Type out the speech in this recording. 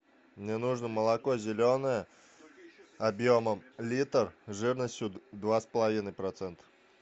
мне нужно молоко зеленое объемом литр жирностью два с половиной процента